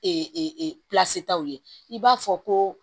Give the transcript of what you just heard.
Ee taw ye i b'a fɔ ko